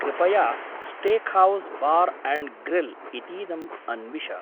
कृपया steakhouse bar and grill इतीदम् अन्विश।